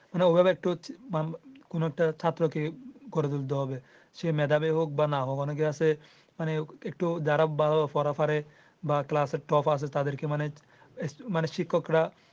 মানে ঐভাবে একটু কোনো একটা ছাত্রকে গড়ে তুলতে হবে সে মেধাবে হোক বা না হোক অনেকে আছে মানে একটু যারা ভালো পড়া পারে বা ক্লাস এর top আছে তাদেরকে মানে শিক্ষকরা।